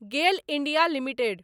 गेल India limited